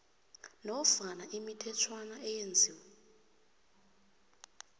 nofana imithetjhwana eyenziwe